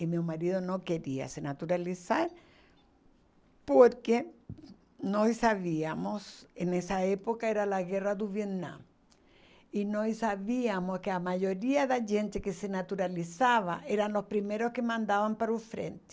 E meu marido não queria se naturalizar porque nós sabíamos, e nessa época era a guerra do Vietnã, e nós sabíamos que a maioria da gente que se naturalizava eram os primeiros que mandavam para o frente.